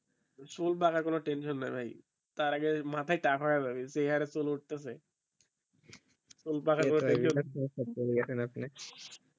চুল পাকার কোনও tension নাই ভাই তার আগে মাথায় টাক হয়ে যাবে যে হারে চুল উতছেসে